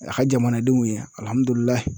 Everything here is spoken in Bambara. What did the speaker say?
A ka jamanadenw ye